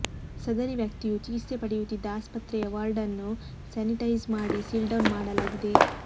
ಸದರಿ ವ್ಯಕ್ತಿಯು ಚಿಕಿತ್ಸೆ ಪಡೆಯುತ್ತಿದ್ದ ಆಸ್ಪತ್ರೆಯ ವಾರ್ಡ್ ನ್ನು ಸ್ಯಾನಿಟೈಸ್ ಮಾಡಿ ಸೀಲ್ಡೌನ್ ಮಾಡಲಾಗಿದೆ